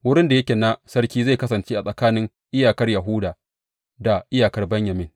Wurin da yake na sarki zai kasance tsakanin iyakar Yahuda da iyakar Benyamin.